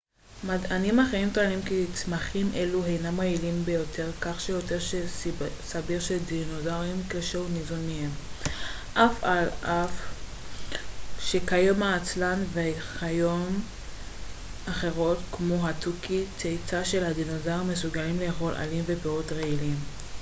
מדענים אחרים טוענים כי צמחים אלו הינם רעילים ביותר כך שלא סביר שדינוזאור כלשהו ניזון מהם על אף שכיום העצלן וחיות אחרות כמו התוכי צאצא של הדינוזאורים מסוגלים לאכול עלים ופירות רעילים